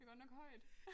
Det er godt nok højt